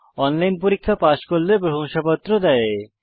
online পরীক্ষা pass করলে প্রশংসাপত্র দেওয়া হয়